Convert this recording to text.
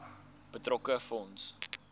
betrokke fonds